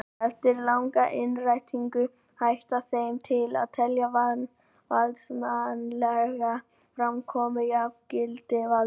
Eftir langa innrætingu hætti þeim til að telja valdsmannslega framkomu jafngilda valdi.